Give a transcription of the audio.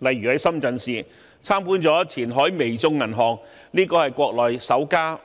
例如，在深圳市參觀了前海微眾銀行股份有限公司這間國內首家